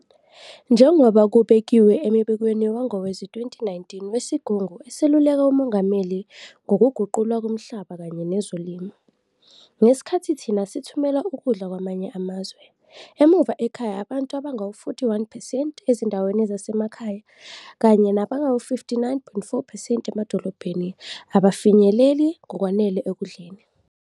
"Njengoba kubekiwe embikweni wangowezi-2019 weSigungu Eseluleka uMongameli Ngokuguqulwa komhlaba kanye Nezolimo, "ngesikhathi thina sithumela ukudla kwamanye amazwe, emuva ekhaya abantu abangama-41 percent ezindaweni zasemakhaya kanye nabangama-59.4 percent emadolobheni abafinyeleli ngokwanele ekudleni."